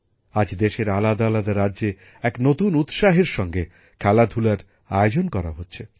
আজ দেশের আলাদা আলাদা রাজ্যে এক নতুন উৎসাহের সঙ্গে খেলাধুলার আয়োজন করা হচ্ছে